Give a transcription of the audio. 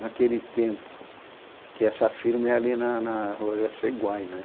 naquele tempo, que essa firma é ali na na rua Jaceguai, né?